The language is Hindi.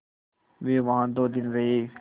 वे वहाँ दो दिन रहे